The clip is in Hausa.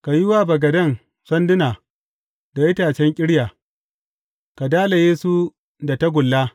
Ka yi wa bagaden sanduna da itacen ƙirya, ka dalaye su da tagulla.